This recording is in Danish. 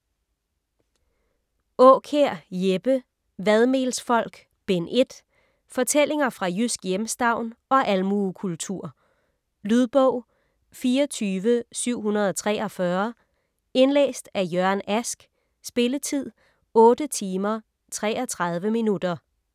Aakjær, Jeppe: Vadmelsfolk: Bind 1 Fortællinger fra jysk hjemstavn og almuekultur. Lydbog 24743 Indlæst af Jørgen Ask Spilletid: 8 timer, 33 minutter.